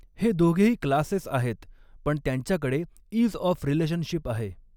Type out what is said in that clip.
हे दोघेही क्लासेस आहेत पण त्यांच्याकडे इज ऑफ रिलेशनशिप आहे.